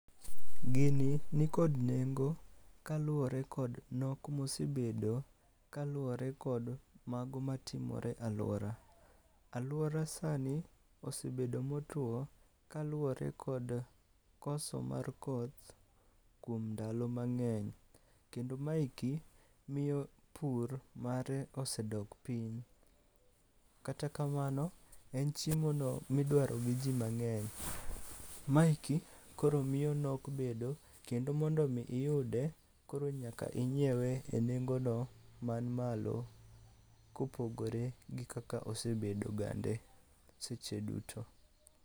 Gini nikod nengo kaluwore kod nok mosebedo kaluwore kod mago matimore e alwora. Alwora sani osebedo motuwo kaluwore kod koso mar koth kuom ndalo mang'eny, kendo ma eki, miyo pur mare osedok piny. Kata kamano, en chiemono midwaro gi ji mang'eny. Ma eki, koro miyo nok bedo kendo mondo omi iyude, koro nyaka inyiewe e nengono man malo kopogore gi kaka osebedo gande seche duto.